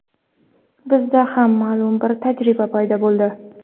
Bizda ham ma’lum bir tajriba paydo bo‘ldi.